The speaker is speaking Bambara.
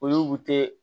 O y'u to